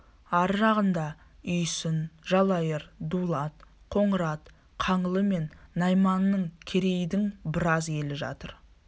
ар жағында үйсін жалайыр дулат қоңырат қаңлы мен найманның керейдің біраз елі жатыр